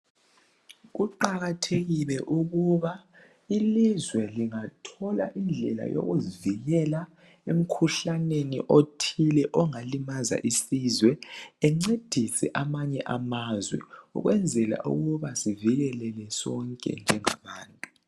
Kuqakathekile ukuba ilizwe lingathola indlela yokuzivikela emkhuhlaneni othile ongalimaza isizwe encedise amanye amazwe ukwenzela ukuba sivikeleke sonke njengabantu